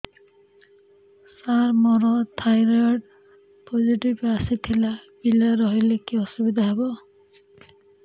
ସାର ମୋର thyroid positive ଆସିଥିଲା ପିଲା ରହିଲେ କି ଅସୁବିଧା ହେବ